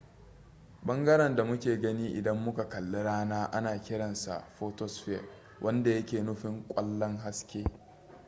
bangaren da muke gani idan muka kalli rana ana kiran sa photosphere wanda yake nufin kwallon haske